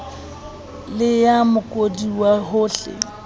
le ya mookodi ka hohle